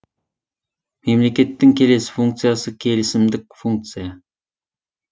мемлекеттің келесі функциясы келісімдік функция